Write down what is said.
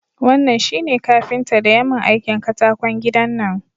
Wannan shi ne kafinta daya mun aikin katakon gidan nan